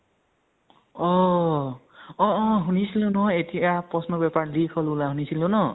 অহ অ অ শুনিছিলো এতিয়া প্ৰশ্ন paper leak হল বুলা শুনিছিলো ন।